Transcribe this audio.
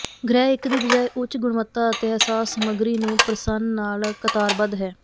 ਗ੍ਰਹਿ ਇੱਕ ਦੀ ਬਜਾਏ ਉੱਚ ਗੁਣਵੱਤਾ ਅਤੇ ਅਹਿਸਾਸ ਸਮੱਗਰੀ ਨੂੰ ਪ੍ਰਸੰਨ ਨਾਲ ਕਤਾਰਬੱਧ ਹੈ